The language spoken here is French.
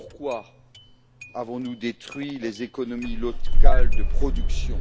Pourquoi avons nous détruit les économies locales de production?